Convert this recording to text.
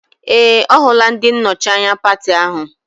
Ee! Ọ hụla ndị nnọchi anya pati ahụ.